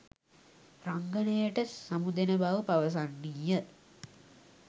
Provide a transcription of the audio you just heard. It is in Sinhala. රංගනයට සමුදෙන බව පවසන්නීය.